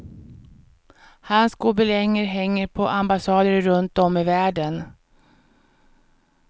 Hans gobelänger hänger på ambassader runt om i världen.